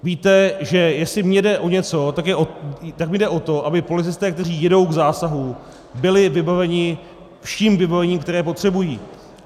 Víte, že jestli mně jde o něco, tak mi jde o to, aby policisté, kteří jedou k zásahu, byli vybaveni vším vybavením, které potřebují.